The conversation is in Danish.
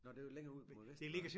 Nåh det jo længere ud mod vest Varde